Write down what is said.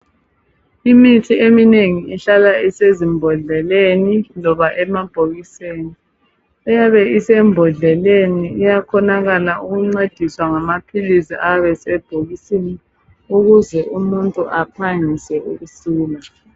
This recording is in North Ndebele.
Imithi eminengi ihlala isezimbodleleni loba emabhokisini, eyabe isembodleleni iyakhonakala ukuncediswa ngamaphilisi ayabe sebhokisini ukuze umuntu aphangise ukusila.